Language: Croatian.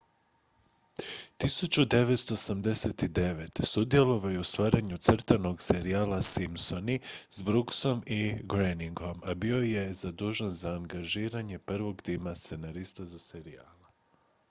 1989. sudjelovao je u stvaranju crtanog serijala simpsoni s brooksom i groeningom a bio je bio zadužen za angažiranje prvog tima scenarista za serijal